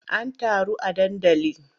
An taru a dandali?